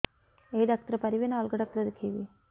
ଏଇ ଡ଼ାକ୍ତର ପାରିବେ ନା ଅଲଗା ଡ଼ାକ୍ତର ଦେଖେଇବି